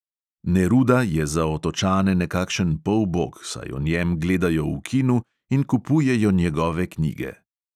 Neruda je za otočane nekakšen polbog, saj o njem gledajo v kinu in kupujejo njegove knjige.